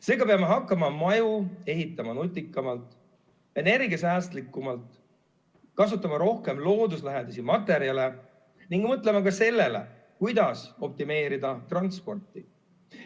Seega peame hakkama maju ehitama nutikamalt, energiasäästlikumalt, kasutama rohkem looduslähedasi materjale ning mõtlema ka sellele, kuidas optimeerida transporti.